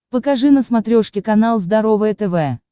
покажи на смотрешке канал здоровое тв